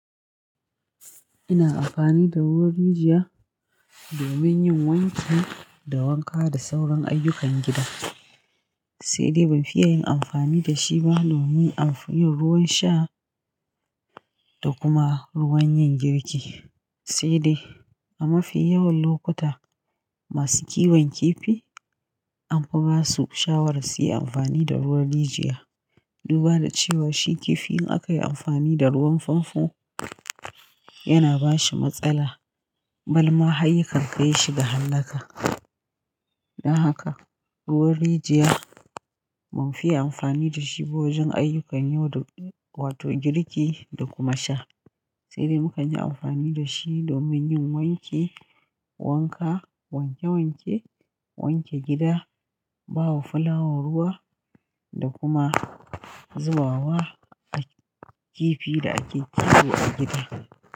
Ina amfani da ruwan rijiya domin yin wanki da wanka da sauran ayyukan gida. Sai dai ban fiye yin amfani da shi ba domin amfani ruwan sha da kuma ruwan yin girki. Sai dai a mafi yawan lokuta masu kiwon kifi an fi ba su shawara su yi amfani da ruwan rijiya. Duba da cewa shi kifi in aka yi amfani da ruwan famfo yana ba shi matsala balma har yakan kai shi ga hallaka. Don haka ruwan rijiya ban fiye amfani da shi ba wajen ayyukan yau da wa to girki da kuma sha. Sai dai muka ji amfani da shi domin yin wanki, wanka, wanke-wanke, wanke gida, bawa fulawa ruwa da kuma zubawa kifi da ake kiwo a gida.